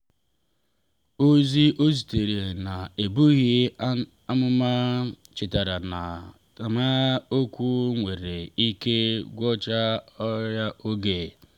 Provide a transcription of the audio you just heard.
ozi o zitere n’ebughị amụma chetara ya na okwu nwere ike gwọọ karịa oge